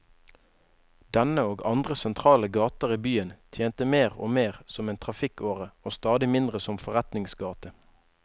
Denne, og andre sentrale gater i byen, tjente mer og mer som en trafikkåre og stadig mindre som forretningsgate.